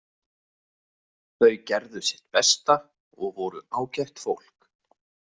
Þau gerðu sitt besta og voru ágætt fólk.